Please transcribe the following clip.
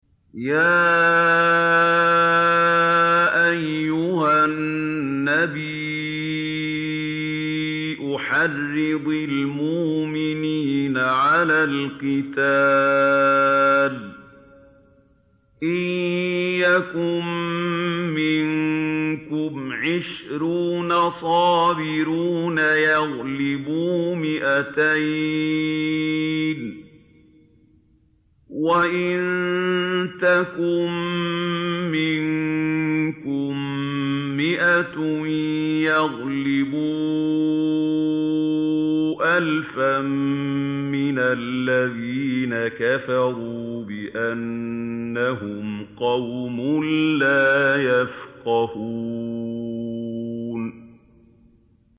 يَا أَيُّهَا النَّبِيُّ حَرِّضِ الْمُؤْمِنِينَ عَلَى الْقِتَالِ ۚ إِن يَكُن مِّنكُمْ عِشْرُونَ صَابِرُونَ يَغْلِبُوا مِائَتَيْنِ ۚ وَإِن يَكُن مِّنكُم مِّائَةٌ يَغْلِبُوا أَلْفًا مِّنَ الَّذِينَ كَفَرُوا بِأَنَّهُمْ قَوْمٌ لَّا يَفْقَهُونَ